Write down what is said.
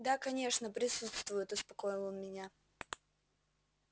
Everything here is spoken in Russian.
да конечно присутствуют успокоил он меня